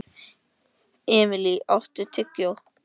Emilý, áttu tyggjó?